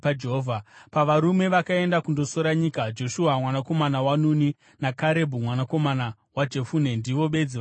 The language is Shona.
Pavarume vakaenda kundosora nyika, Joshua mwanakomana waNuni naKarebhu mwanakomana waJefune ndivo bedzi vakararama.